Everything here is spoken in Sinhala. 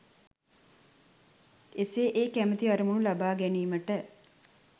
එසේ ඒ කැමැති අරමුණු ලබා ගැනීමට